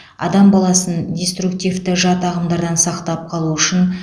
адам баласын диструктивті жат ағымдардан сақтап қалу үшін